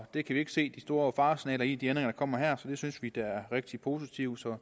vi kan ikke se de store faresignaler i de ændringer der kommer her så det synes vi da er rigtig positivt